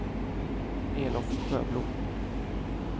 Elof Sjöblom